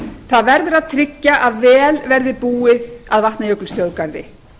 það verður að tryggja að vel væri búið að vatnajökulsþjóðgarði